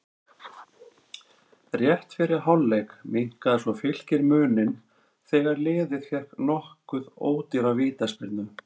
Rétt fyrir hálfleik minnkaði svo Fylkir muninn þegar liðið fékk nokkuð ódýra vítaspyrnu.